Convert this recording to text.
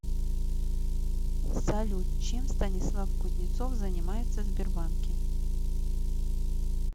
салют чем станислав кузнецов занимается в сбербанке